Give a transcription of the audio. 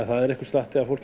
það er einhver slatti af fólki